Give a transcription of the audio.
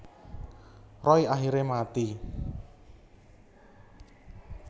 Roy akhire mati